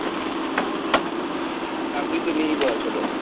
চাকরি তো নেই বলা চলে,